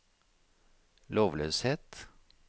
lovløshet